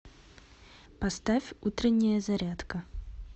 поставь утренняя зарядка